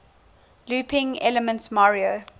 looping elements mario